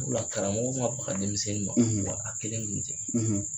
Karamɔgɔ ma baga denmisɛnnin in ma wa a kelen kun tɛ.